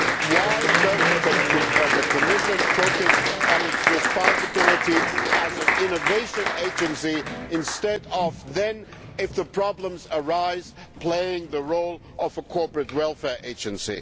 Why does the Commission not focus on its responsibility as an innovation agency instead of, if problems arise, playing the role of a corporate welfare agency?